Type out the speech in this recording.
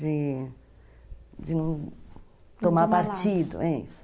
De de não tomar partido, é isso.